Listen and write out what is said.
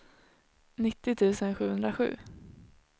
nittio tusen sjuhundrasju